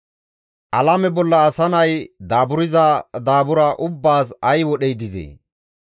Alame bolla asa nay daaburza daabura ubbaas ay wodhey dizee?